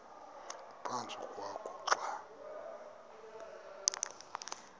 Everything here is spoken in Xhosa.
ephantsi kwakho xa